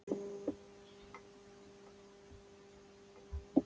En það er einungis rödd mín sem er lævís.